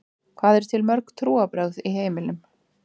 Hvað eru til mörg trúarbrögð í heiminum?